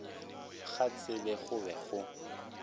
ga tsebo go be go